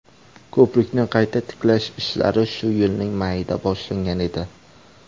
Ko‘prikni qayta tiklash ishlari shu yilning mayida boshlangan edi.